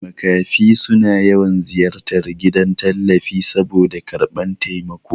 Makafi suna yawan ziyartar gidan tallafi saboda karɓan taimako